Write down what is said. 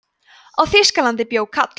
á þýskalandi bjó kall